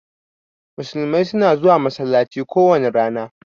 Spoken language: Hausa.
Musulmai suna zuwa masallaci kowani rana.